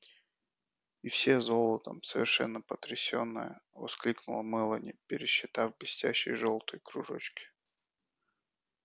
и все золотом совершенно потрясённая воскликнула мелани пересчитав блестящие жёлтые кружочки